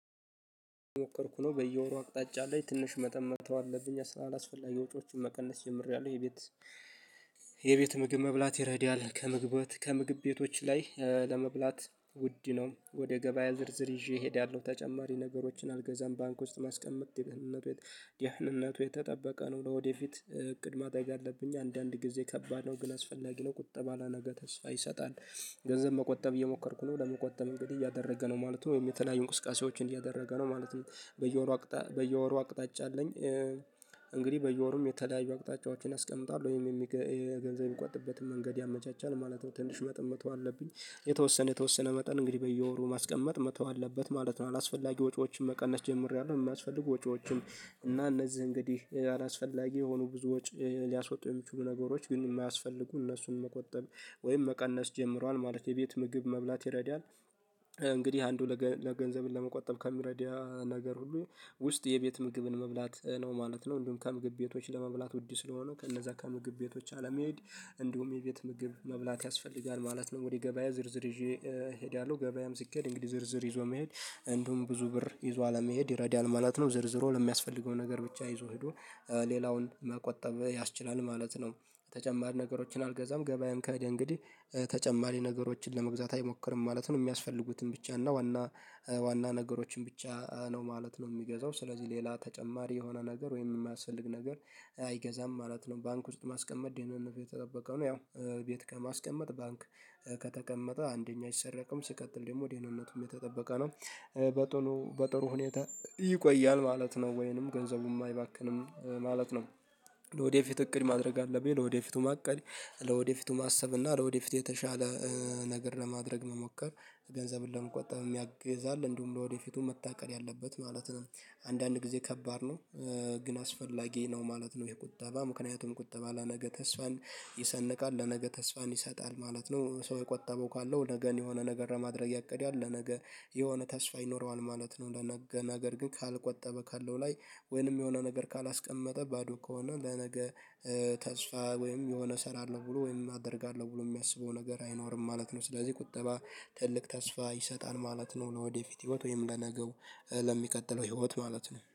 ሞከርኩ ነው በየወሩ አቅጣጫ አለኝ ትንሽ መጠን መተው አለብኝ አላስፈላጊ ወጪዎችን መቀነስ ጀምሬያለሁ። የቤት የቤት ምግብ መብላት ይረዳል ከምግብ ከምግብ ቤቶች ላይ ለመብላት ውድ ነው። ወደ ገበያ ዝርዝር ይዤ እሄዳለሁ ተጨማሪ ነገሮችን አልገዛም። ባንክ ውስጥ ማስቀመጥ ደህንነቱ ድህንነቱ የተጠበቀ ነው ለወደፊት እቅድ ማድረግ አለብኝ። አንዳንድ ጊዜ ከባድ ነው ግን አስፈላጊ ነው ቁጠባ ለነገ ተስፋ ይሰጣል። ገንዘብ መቆጠብ እየሞከርኩ ነው ለመቆጠብ እንግዲህ እያደረገ ነው ማለት ነው። ወይም የተለያዩ እንቁስቃሴዎችን እያደረገ ነው ማለት ነው። በየወሩ በየወሩ አቅጣጫ አለኝ እንግዲህ በየወሩም የተለያዩ አቅጣጫዎችን አስቀምጧል ወይም የሚገንዘብ የሚቆጥበትን መንገድ ያመቻቻል ማለት ነው። ትንሽ መጠን መተው አለብኝ የተወሰነ የተወሰነ መጠን እንግዲህ በየወሩ ማስቀመጥ መተው አለበት ማለት ነው። አላስፈላጊ ወጪዎችን መቀነስ ጀምሬያለሁ። የሚያስፈልጉ ወጪዎችን እና እነዚህ እንግዲህ አላስፈላጊ የሆኑ ብዙ ወጪ ሊያስወጡ የሚችሉ ነገሮች ግን የማያስፈልጉ እነሱን መቆጠብ ወይም መቀነስ ጀምሯል ማለት የቤት ምግብ መብላት ይረዳል። እንግዲህ አንዱ ለገንዘብ ለመቆጠብ ከሚረዳ ነገር ሁሉ ውስጥ የቤት ምግብን መብላት ነው ማለት ነው። እንዲሁም ከምግብ ቤቶች ለመብላት ውድ ስለሆነው ከእነዛ ከምግብ ቤቶች አለመሄድ እንዲሁም የቤት ምግብ መብላት ያስፈልጋል ማለት ነው። ወደ ገበያ ዝርዝር ይዤ እሄዳለሁ ገበያም ሲኬድ እንግዲህ ዝርዝር ይዞ መሄድ እንዲሁም ብዙ ብር ይዞ አለመሄድ ይረዳል ማለት ነው። ዝርዝሩን ለሚያስፈልገው ነገር ብቻ ይዞ ሄዶ ሌላውን መቆጠብ ያስችላል ማለት ነው። ተጨማሪ ነገሮችን አልገዛም ገበያም ከሄደ እንግዲህ ተጨማሪ ነገሮችን ለመግዛት አይሞክርም ማለት ነው። የሚያስፈልጉትን ብቻ እና ዋና ነገሮችን ብቻ ነው ማለት ነው የሚገዛው ስለዚህ ሌላ ተጨማሪ የሆነ ነገር ወይም የማያስፈልግ ነገር አይገዛም ማለት ነው። ባንክ ውስጥ ማስቀመጥ ደህንነቱ የተጠበቀ ነው ያው ቤት ከማስቀመጥ ባንክ ከተቀመጠ አንደኛ አይሰረቅም ሲቀጥል ደግሞ ደህንነቱም የተጠበቀ ነው። በቶሎ በጥሩ ሁኔታ ይቆያል ማለት ነው ወይንም ገንዘቡም አይባክንም ማለት ነው። ለወደፊት እቅድ ማድረግ አለብኝ ለወደፊቱ ማቀድ ለወደፊቱ ማሰብ እና ለወደፊት የተሻለ ነገር ለማድረግ መሞከር ገንዘብን ለመቆጠብ ያግዛል እንዲሁም ለወደፊቱም መታቀድ ያለበት ማለት ነው። አንዳንድ ጊዜ ከባድ ነው ግን አስፈላጊ ነው ማለት ነው። ይሄ ቁጠባ ምክንያቱን ቁጠባ ለነገ ተስፋን ይሰንቃል ለነገ ተስፋን ይሰጣል ማለት ነው። ሰው የቆጠበው ካለው ነገን የሆነ ነገር ለማድረግ ያቅዳል ለነገ የሆነ ተስፋ ይኖረዋል ማለት ነው። ለነገ ነገር ግን ካልቆጠበ ካለው ላይ ወይንም የሆነ ነገር ካላስቀመጠ ባዶ ከሆነ ለነገ ተስፋ ወይም የሆነ ስራ አለ ብሎ ወይም አደርጋለሁ ብሎ የሚያስበው ነገር አይኖርም ማለት ነው። ስለዚህ ቁጠባ ትልቅ ተስፋ ይሰጣል ማለት ነው። ለወደፊት ህይወት ወይም ለነገው ለሚቀጥለው ህይወት ማለት ነው